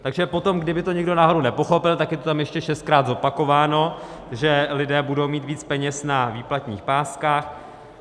Takže potom, kdyby to někdo náhodou nepochopil, tak je to tam ještě šestkrát zopakováno, že lidé budou mít víc peněz na výplatních páskách.